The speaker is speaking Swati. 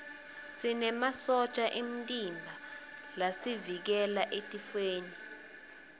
sinemasotja emtimba lasivikela etifweni